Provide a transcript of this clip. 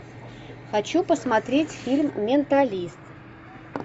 хочу посмотреть фильм менталист